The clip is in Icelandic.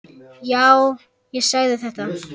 Já, ég sagði þetta.